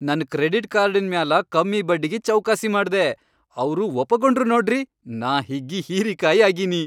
ನನ್ ಕ್ರೆಡಿಟ್ ಕಾರ್ಡಿನ್ ಮ್ಯಾಲ ಕಮ್ಮಿ ಬಡ್ಡಿಗಿ ಚೌಕಾಸಿ ಮಾಡ್ದೆ, ಅವ್ರು ಒಪಗೊಂಡ್ರು ನೋಡ್ರಿ, ನಾ ಹಿಗ್ಗಿ ಹೀರಿಕಾಯಿ ಆಗಿನಿ.